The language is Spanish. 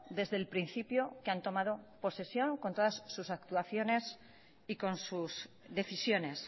desde el principio que han tomado posesión con todas actuaciones y con sus decisiones